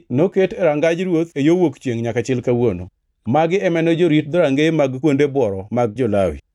noket e Rangaj Ruoth e yo wuok chiengʼ nyaka chil kawuono. Magi ema ne jorit dhorangeye mag kuonde bworo mag jo-Lawi.